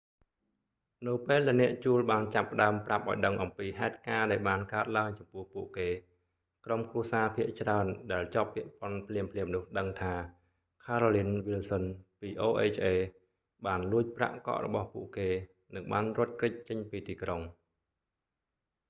នៅពេលដែលអ្នកជួលបានចាប់ផ្ដើមប្រាប់ឱ្យដឹងអំពីហេតុការណ៍ដែលបានកើតឡើងចំពោះពួកគេ ក្រុមគ្រួសារភាគច្រើនដែលជាប់ពាក់ព័ន្ធ ភ្លាមៗនោះដឹងថា carolyn wilson ពី oha បានលួចប្រាក់កក់របស់ពួកគេ និងបានរត់គេចចេញពីទីក្រុង